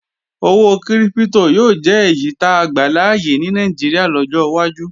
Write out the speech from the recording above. Owó kírípítò yóò jẹ́ èyí táa gbàláyè ní Nàìjíríà lọ́jọ́ wájú